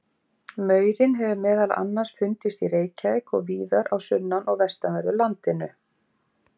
Maurinn hefur meðal annars fundist í Reykjavík og víðar á sunnan- og vestanverðu landinu.